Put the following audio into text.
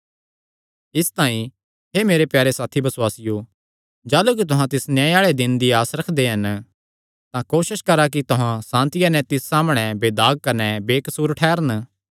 इसतांई हे मेरे प्यारे साथी बसुआसियो जाह़लू कि तुहां तिस न्याय आल़े दिने दी आस रखदे हन तां कोसस करा कि तुहां सांतिया नैं तिस सामणै बेदाग कने बेकसूर ठैह़रन